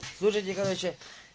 слушайте короче